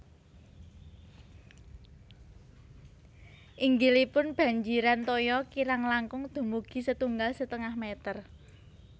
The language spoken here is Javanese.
Inggilipun banjiran toya kirang langkung dumugi setunggal setengah meter